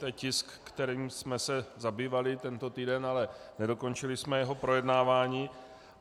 To je tisk, kterým jsme se zabývali tento týden, ale nedokončili jsme jeho projednávání.